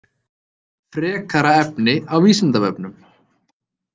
Frekara efni á Vísindavefnum.